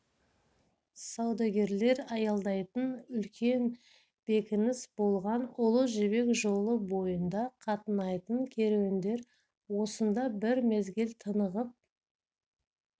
саудагерлер аялдайтын үлкен бекініс болған ұлы жібек жолы бойында қатынайтын керуендер осында бір мезгіл тынығып